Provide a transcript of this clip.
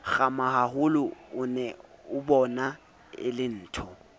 kgamahaholo o neabona e lentho